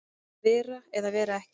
Að vera eða vera ekki